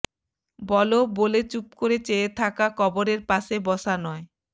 বলো বলে চুপ করে চেয়ে থাকা কবরের পাশে বসা নয়